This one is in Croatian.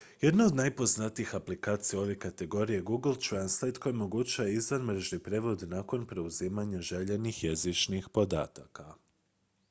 jedna od najpoznatijih aplikacija u ovoj kategoriji je google translate koja omogućuje izvanmrežni prijevod nakon preuzimanja željenih jezičnih podataka